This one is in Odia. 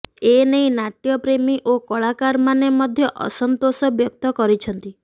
ଏନେଇ ନାଟ୍ୟ ପ୍ରେମୀ ଓ କଳାକାରମାନେ ମଧ୍ୟ ଅସନ୍ତୋଷ ବ୍ୟକ୍ତ କରିଛନ୍ତି